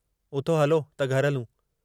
उथो हलो त घर हलूं।